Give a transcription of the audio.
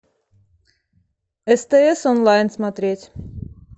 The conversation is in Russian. стс онлайн смотреть